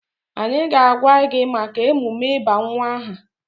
Anyị ga-agwa gị maka emume ịba nwa aha.